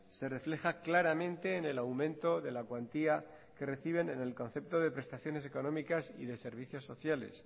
se refleja claramente en el aumento de la cuantía que reciben en el concepto de prestaciones económicas y de servicios sociales